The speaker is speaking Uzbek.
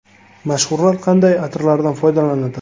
Mashhurlar qanday atirlardan foydalanadi?.